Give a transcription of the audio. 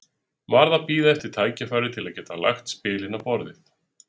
Varð að bíða eftir tækifæri til að geta lagt spilin á borðið.